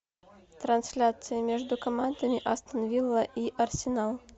трансляция между командами астон вилла и арсенал